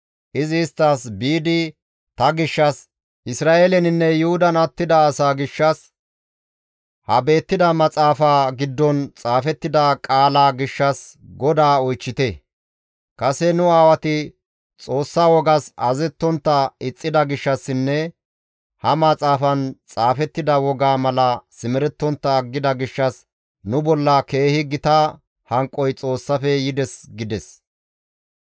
Izi isttas, «Biidi ta gishshas, Isra7eeleninne Yuhudan attida asaa gishshas, ha beettida maxaafa giddon xaafettida qaalaa gishshas GODAA oychchite; kase nu aawati Xoossa wogas azazettontta ixxida gishshassinne ha maxaafan xaafettida wogaa mala simerettontta aggida gishshas nu bolla keehi gita hanqoy Xoossafe yides» gides.